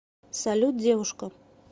салют девушка